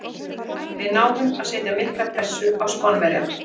Við náðum að setja mikla pressu á Spánverjana.